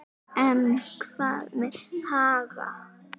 En hvað með Haga?